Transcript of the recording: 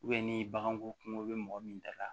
ni baganko kungo bɛ mɔgɔ min da la